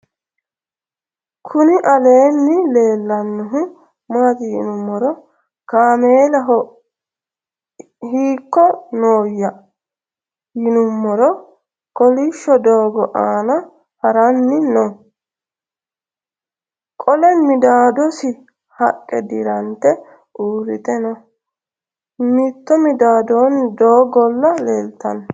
kuni aleni lelanohu mati yiinumoro kamelaho hiko noya yinumoro kolisho dogo anna harani noo. qole midadosi haqe diirante uurite noo. mitto midadoni dogola leltano